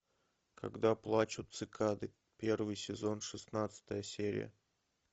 когда плачут цикады первый сезон шестнадцатая серия